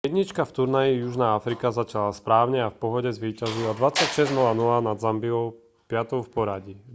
jednička v turnaji južná afrika začala správne a v pohode zvíťazila 26:00 nad zambiou 5-tou v poradí